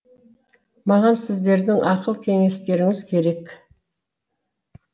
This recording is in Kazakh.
маған сіздердің ақыл кеңестеріңіз керек